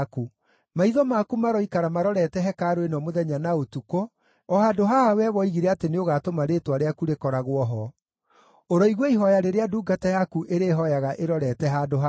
Maitho maku maroikara marorete hekarũ ĩno mũthenya na ũtukũ, o handũ haha wee woigire atĩ nĩũgatũma Rĩĩtwa rĩaku rĩkoragwo ho. Ũroigua ihooya rĩrĩa ndungata yaku ĩrĩhooyaga ĩrorete handũ haha.